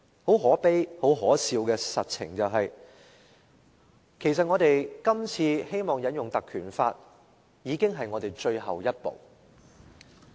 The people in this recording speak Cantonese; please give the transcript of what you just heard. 很可悲、很可笑的實情是，其實我們今次引用《條例》提出議案已經是我們的最後一步。